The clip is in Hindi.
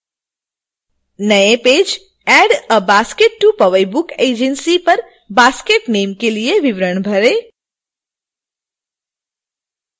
नए page add a basket to powai book agency पर basket name के लिए विवरण भरें